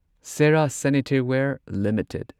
Cera Sanitaryware limited